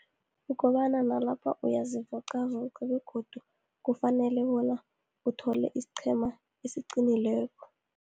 Kukobana nalapha uyazivoqavoqa, begodu kufanele bona uthole isiqhema esiqinile,